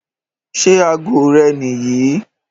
Ṣẹ́ àágọ̀ rè́ níyìí?